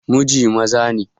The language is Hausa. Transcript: Muji maza ne.